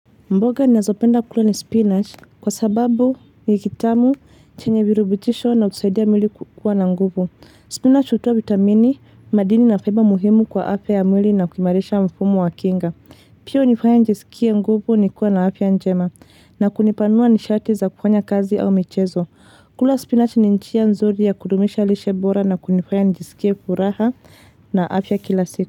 Mboga ninazopenda kula ni spinach kwa sababu ni kitamu, chenye virubutisho na husaidia mwili kukua na nguvu. Spinach utoa vitamini, madini na faiba muhimu kwa afya ya mwili na kuimarisha mfumo wa kinga. Pia hunifaya njisikie nguvu nikuwe na afya njema na kunipanua nishati za kufanya kazi au michezo. Kula spinach ni njia nzuri ya kudumisha lishe bora na kunifanya nijisikie furaha na afya kila siku.